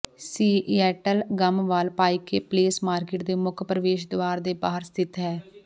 Seattle Gum Wall Pike Place Market ਦੇ ਮੁੱਖ ਪ੍ਰਵੇਸ਼ ਦੁਆਰ ਦੇ ਬਾਹਰ ਸਥਿਤ ਹੈ